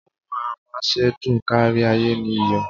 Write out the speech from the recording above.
Ohun amásèdùn kárí-ayé ni iyọ̀.